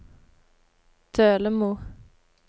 Dølemo